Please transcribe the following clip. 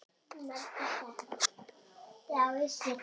Ég er ekkert daufur.